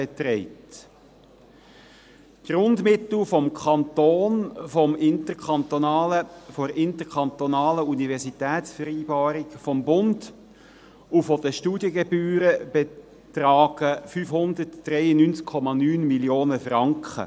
Die Grundmittel des Kantons, der interkantonalen Universitätsvereinbarung, des Bundes und der Studiengebühren betragen 593,9 Mio. Franken.